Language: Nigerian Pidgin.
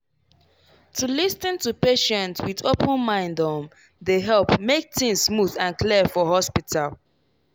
to lis ten to patient with open mind um dey help make things smooth and clear for hospital.